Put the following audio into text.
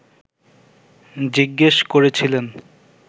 জিজ্ঞেস করেছিলেন